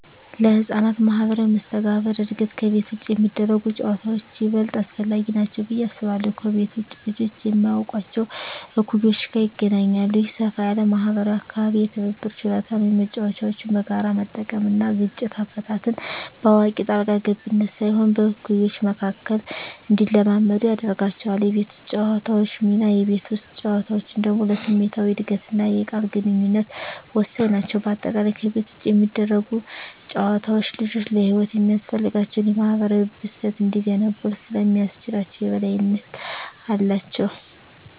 ለሕፃናት ማኅበራዊ መስተጋብር እድገት ከቤት ውጭ የሚደረጉ ጨዋታዎች ይበልጥ አስፈላጊ ናቸው ብዬ አስባለሁ። ከቤት ውጭ ልጆች ከማያውቋቸው እኩዮች ጋር ይገናኛሉ። ይህ ሰፋ ያለ ማኅበራዊ አካባቢ የትብብር ችሎታን (መጫወቻዎችን በጋራ መጠቀም) እና ግጭት አፈታትን (በአዋቂ ጣልቃ ገብነት ሳይሆን በእኩዮች መካከል) እንዲለማመዱ ያደርጋቸዋል። የቤት ውስጥ ጨዋታዎች ሚና: የቤት ውስጥ ጨዋታዎች ደግሞ ለስሜታዊ እድገትና የቃል ግንኙነት ወሳኝ ናቸው። በአጠቃላይ፣ ከቤት ውጭ የሚደረጉ ጨዋታዎች ልጆች ለሕይወት የሚያስፈልጋቸውን የማኅበራዊ ብስለት እንዲገነቡ ስለሚያስችላቸው የበላይነት አላቸው።